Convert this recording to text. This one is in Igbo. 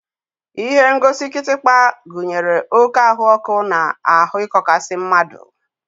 Ihengosi kịtịkpa gụnyere oké ahụọkụ na ahụ ịkọkasi mmadụ.